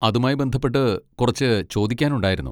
അതുമായി ബന്ധപ്പെട്ട് കുറച്ച് ചോദിക്കാനുണ്ടായിരുന്നു.